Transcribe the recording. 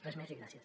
res més i gràcies